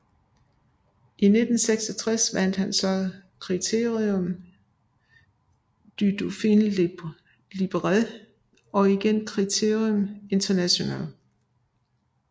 I 1966 vandt han så Critérium de Dauphiné Libéré og igen Criterium International